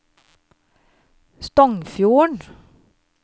Stongfjorden